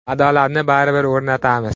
Adolatni baribir o‘rnatamiz.